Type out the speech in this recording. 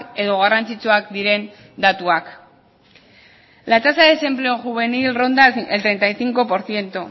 edo garrantzitsuak diren datuak la tasa de desempleo juvenil ronda el treinta y cinco por ciento